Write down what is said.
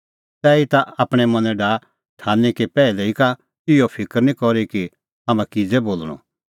तैहीता आपणैं मनैं डाहा ठान्हीं कि पैहलै ई का इहअ फिकर निं करी कि हाम्हां किज़ै बोल़णअ